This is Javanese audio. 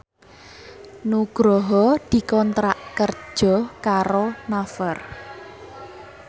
Nugroho dikontrak kerja karo Naver